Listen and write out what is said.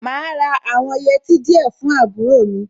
Màá ra àwọn yẹtí díẹ̀ fún àbúrò mi.